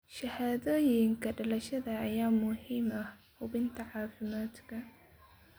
Shahaadooyinka dhalashada ayaa muhiim u ah hubinta caafimaadka.